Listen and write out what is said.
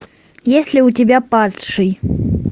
есть ли у тебя падший